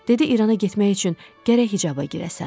Dedi İrana getmək üçün gərək hicaba girəsən.